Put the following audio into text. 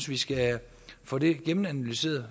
vi skal få det gennemanalyseret